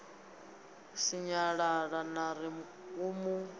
sinyalala ḽa ri u mu